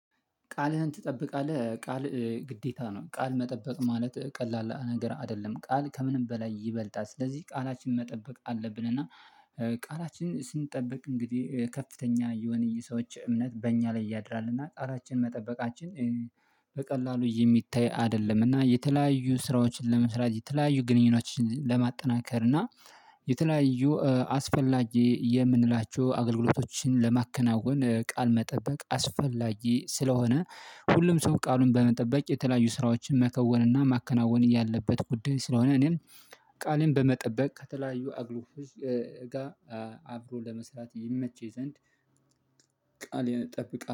ቃልህን ትጠብቃለህ ቃል ግዴታ ነው። ቃል መጠበቅ ማለት ቀላል ነገር አይደለም። ቃል ከምንም በላይ ይበልጣል ስለዚህ ቃላችን መጠበቅ አለብን እና ቃላችን ስንጠበቅ እንግዲህ ከፍተኛ የሆነ የሰዎች እምነት በእኛ ላይ ያድራል እና ጣራችን መጠበቃችን በቀላሉ የሚታይ አይደለም እና የተለያዩ ስራዎችን ለመስራት የተለያዩ ግንኙነቶችን ለማጠናከር እና የተለያዩ አስፈላጊ የምንላቸው አገልግሎቶችን ለማከናወን ቃል መጠበቅ አስፈላጊ ስለሆነ ሁሉም ሰው ቃሉን በመጠበቅ የተለያዩ ስራዎችን መከወንና ማከናወን ያለበት ጉዳይ ስለሆነ እኔም ቃሌን በመጠበቅ ከተለያዩ አገልገሎቶች ጋር አብሮ ለመስራት ይመች ዘንድ ቃሌን እጠብቃለሁ።